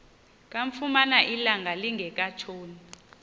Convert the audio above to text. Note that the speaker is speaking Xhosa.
kamfumana ilanga lingekatshoni